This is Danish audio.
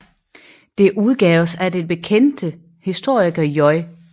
Det udgaves af den bekendte historiker J